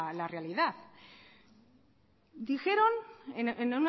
la realidad dijeron en